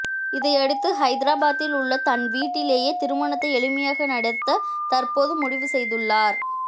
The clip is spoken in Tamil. இதையடுத்து ஐதராபாத்தில் உள்ள தன் வீட்டிலேயே திருமணத்தை எளிமையாக நடத்த தற்போது முடிவு செய்துள்ளார்